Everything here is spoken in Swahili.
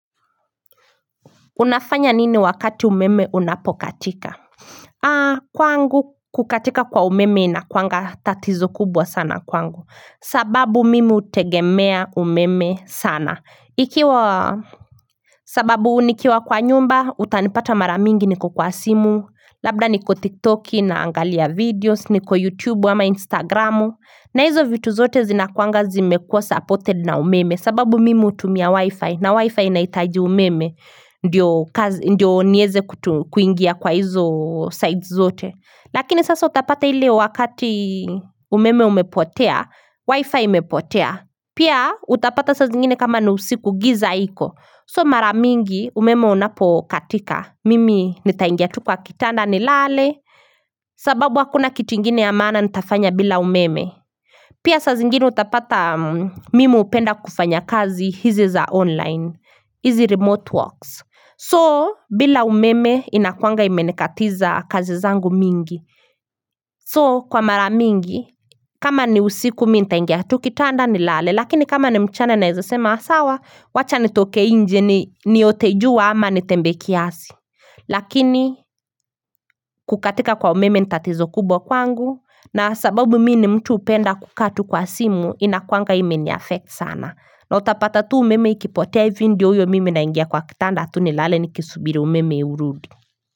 Unafanya nini wakati umeme unapokatika? Kwangu kukatika kwa umeme inakuanga tatizo kubwa sana kwangu. Sababu mimi hutegemea umeme sana. Sababu nikiwa kwa nyumba, utanipata mara mingi niko kwa simu. Labda niko tiktoki naangalia videos, niko youtube ama instagramu. Na hizo vitu zote zinakuanga zimekua supported na umeme. Sababu mimi utumia wi-fi na wi-fi inahitaji umeme Ndiyo niweze kuingia kwa hizo sides zote Lakini sasa utapata ile wakati umeme umepotea Wi-fi umepotea Pia utapata sa zingine kama ni usiku giza iko So mara mingi umeme unapo katika Mimi nitaingia tu kwa kitanda nilale sababu hakuna kitu ingine ya maana nitafanya bila umeme Pia saa zingine utapata mimi hupenda kufanya kazi hizi za online, hizi remote works. So, bila umeme inakuanga imenikatiza kazi zangu mingi. So, kwa mara mingi, kama ni usiku nitaingia tu kitanda nilale, lakini kama ni mchana naeza sema sawa, wacha nitoke njje niote jua ama nitembe kiasi. Lakini kukatika kwa umeme ni tatizo kubwa kwangu na sababu mimi ni mtu hupenda kukaa tu kwa simu inakuwanga ime ni effect sana na utapata tu umeme ikipotea hivi ndio uyo mimi naingia kwa kitanda atu nilale nikisubiri umeme urudi.